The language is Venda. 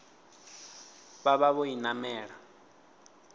vha vha vho i namela